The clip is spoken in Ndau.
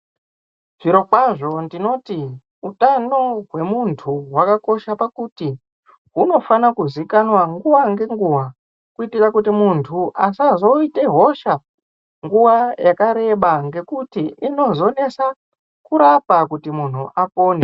Zviro kwazvo ndinoti hutano wemuntu hwakakosha pakuti hunofana kuzikanwa nguwa ngenguwa kuitira kuti muntu asazoita hosha nguwa yakareba ngekuti inozonesa kurapa kuti muntu apone.